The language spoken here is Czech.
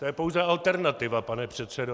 To je pouze alternativa, pane předsedo.